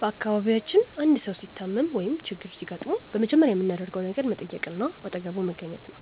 በአካባቢያችን አንድ ሰው ሲታመም ወይም ችግር ሲገጥመው በመጀመሪያ የምናደርገው ነገር መጠየቅና አጠገቡ መገኘት ነው።